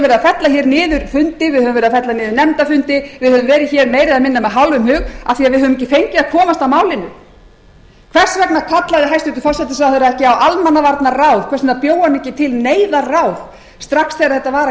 niður nefndafundi við höfum verið meira eða minna með hálfum hug af því að við höfum ekki fengið að komast að málinu hvers vegna kallaði hæstvirtur forsætisráðherra ekki á almannavarnaráð hvers vegna bjó hann ekki til neyðarráð strax þegar þetta var að